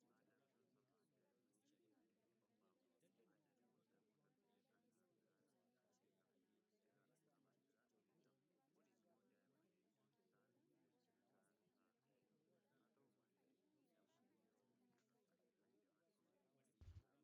Manneen hedduu akkaataan isaan itti ijaaraman wal fakkaataa ta'e bosona gidduutti gaara irratti ijaaramanii jiru. Naannoo manneen kanaa biqiloota baala magariisa qaban baay'eetu jira. Akkasumallee maanneen kana goodaan lafti gadi dhooqaan ni argama.